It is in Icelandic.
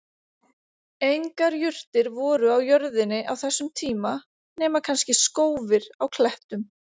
Engar jurtir voru á jörðinni á þessum tíma nema kannski skófir á klettum.